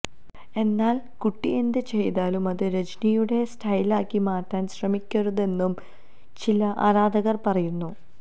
എന്നാല് കുട്ടി എന്ത് ചെയ്താലും അത് രജനിയുടെ സ്റ്റൈലാക്കി മാറ്റാന് ശ്രമിക്കരുതെന്നും ചില ആരാധകര് പറയുന്നു